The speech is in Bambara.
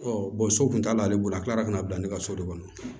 so kun t'ale bolo a kilara ka na bila ne ka so de kɔnɔ